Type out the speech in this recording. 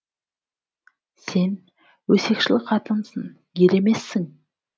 сен өсекшіл қатынсың ер емессің